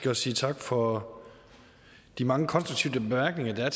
at sige tak for de mange konstruktive bemærkninger der har